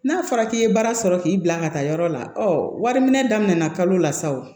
N'a fɔra k'i ye baara sɔrɔ k'i bila ka taa yɔrɔ la ɔ wari minɛ daminɛna kalo la sa o